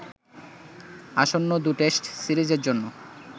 আসন্ন ২ টেস্ট সিরিজের জন্য